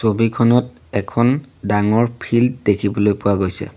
ছবিখনত এখন ডাঙৰ ফিল্ড দেখিবলৈ পোৱা গৈছে।